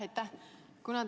Aitäh!